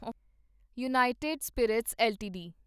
United Spirits LTD